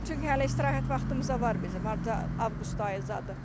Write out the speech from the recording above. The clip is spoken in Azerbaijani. İndi çünki hələ istirahət vaxtımıza var bizim hardasa avqust ayı zadı.